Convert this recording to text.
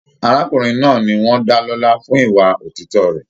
Arákùnrin náà ní wọn dá lọla fún ìwà òtítọ rẹ.